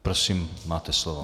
Prosím, máte slovo.